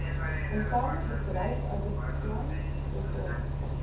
interne bedryfsouditplan voltooi